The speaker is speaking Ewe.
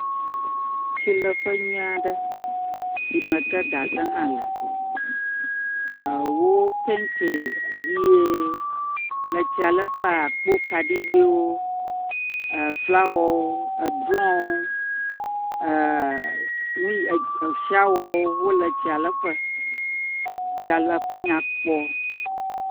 Tsileƒe nyui aɖe yi me ke gaze hã le. Ewo pɛntie ʋie. Le etsialeƒe akpo kaɖigbɛwo, eflawɔwo, edrɔwo. E… Enui eshawɔwo wole tsialeƒe. tsialeƒe nya kpɔ.